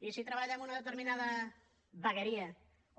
i si treballa en una determinada vegueria